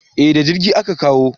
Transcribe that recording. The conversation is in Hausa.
Eh da jirgi a Ka kawo